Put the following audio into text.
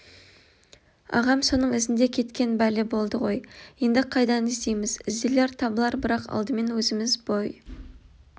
ағам соның ізінде кеткен бәле болды ғой енді қайдан іздейміз ізделер табылар бірақ алдымен өзіміз бой